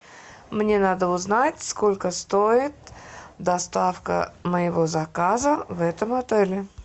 мне надо узнать сколько стоит доставка моего заказа в этом отеле